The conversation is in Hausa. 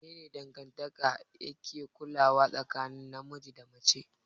Mene ne dangantaka yake ƙullawa tsakanin namiji da mace?